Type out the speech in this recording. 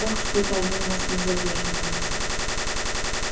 ох что-то они у нас не задерживаются